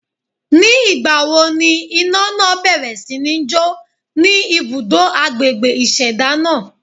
Ní ìgbà wo ni iná náà bẹ̀rẹ̀ sí ní jo ni ibùdó agbègbè ìṣẹ̀dá náà?